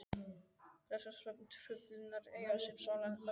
Flestar svefntruflanir eiga sér sálræna orsök.